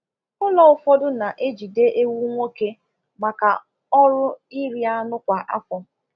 Ụlọ ụfọdụ na-ejide ewu nwoke maka ọrụ ịrị anụ kwa afọ